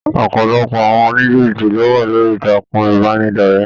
ọpọlọpọ àwọn onijibiti lo wà lórí ìtàkùn ìbánidọ̀rẹ̀.